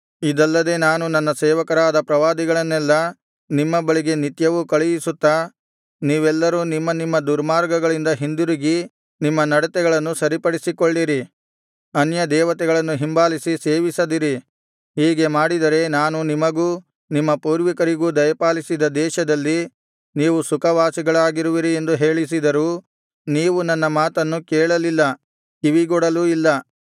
ಇದಲ್ಲದೆ ನಾನು ನನ್ನ ಸೇವಕರಾದ ಪ್ರವಾದಿಗಳನ್ನೆಲ್ಲಾ ನಿಮ್ಮ ಬಳಿಗೆ ನಿತ್ಯವೂ ಕಳುಹಿಸುತ್ತಾ ನೀವೆಲ್ಲರೂ ನಿಮ್ಮ ನಿಮ್ಮ ದುರ್ಮಾರ್ಗಗಳಿಂದ ಹಿಂದಿರುಗಿ ನಿಮ್ಮ ನಡತೆಗಳನ್ನು ಸರಿಪಡಿಸಿಕೊಳ್ಳಿರಿ ಅನ್ಯದೇವತೆಗಳನ್ನು ಹಿಂಬಾಲಿಸಿ ಸೇವಿಸದಿರಿ ಹೀಗೆ ಮಾಡಿದರೆ ನಾನು ನಿಮಗೂ ನಿಮ್ಮ ಪೂರ್ವಿಕರಿಗೂ ದಯಪಾಲಿಸಿದ ದೇಶದಲ್ಲಿ ನೀವು ಸುಖವಾಸಿಗಳಾಗಿರುವಿರಿ ಎಂದು ಹೇಳಿಸಿದರೂ ನೀವು ನನ್ನ ಮಾತನ್ನು ಕೇಳಲಿಲ್ಲ ಕಿವಿಗೊಡಲೂ ಇಲ್ಲ